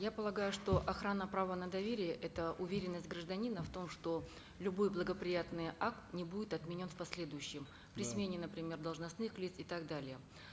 я полагаю что охрана права на доверие это уверенность гражданина в том что любой благоприятный акт не будет отменен в последующем при смене например должностных лиц и так далее